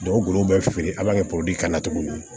golo bɛ feere an b'a kɛ kan cogo min na